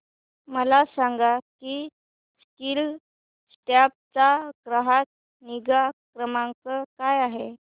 मला सांग की स्कीलसॉफ्ट चा ग्राहक निगा क्रमांक काय आहे